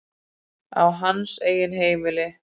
Á hans eigin heimili.